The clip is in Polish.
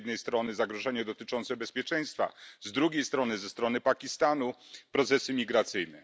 Z jednej strony zagrożenie dotyczące bezpieczeństwa, z drugiej strony ze strony Pakistanu procesy migracyjne.